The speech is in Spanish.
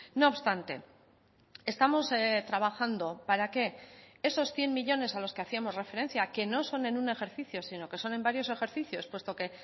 no obstante estamos trabajando para qué esos cien millónes a los que hacíamos referencia que no son en un ejercicio sino que son en varios ejercicios puesto que